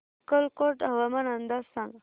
अक्कलकोट हवामान अंदाज सांग